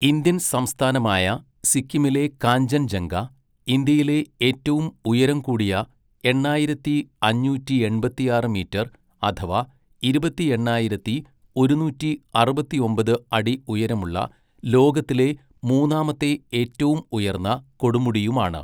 Indian സംസ്ഥാനമായ സിക്കിമിലെ കാഞ്ചൻജംഗ, ഇന്ത്യയിലെ ഏറ്റവും ഉയരം കൂടിയ എണ്ണായിരത്തി അഞ്ഞൂറ്റിയെൺപത്തിയാറ് മീറ്റർ അഥവാ ഇരുപത്തിയെണ്ണായിരത്തി ഒരുന്നൂറ്റി അറുപത്തിയൊമ്പത് അടി ഉയരമുള്ള ലോകത്തിലെ മൂന്നാമത്തെ ഏറ്റവും ഉയർന്ന കൊടുമുടിയുമാണ്.